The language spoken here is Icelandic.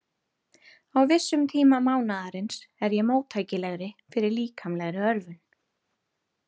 Á vissum tíma mánaðarins er ég móttækilegri fyrir líkamlegri örvun.